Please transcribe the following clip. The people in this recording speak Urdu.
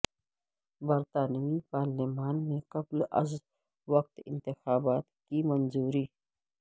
برطانوی پارلیمان میں قبل از وقت انتخابات کی منظوری